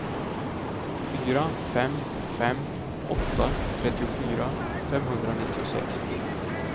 fyra fem fem åtta trettiofyra femhundranittiosex